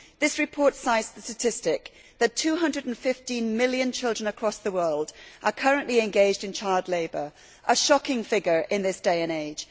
This report cites the statistic that 215 million children across the world are currently engaged in child labour, a shocking figure in this day and age.